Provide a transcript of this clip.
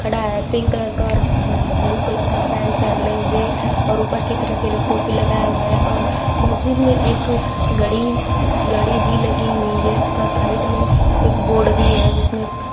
ये pink colour का और ब्लू कलर का पैंट पहने हुए और ऊपर की तरफ एक टोपी लगाए हुए हैं और मस्जिद में एक घड़ी घड़ी भी लगी हुई है तथा साइड में एक बोर्ड भी है जिसमें--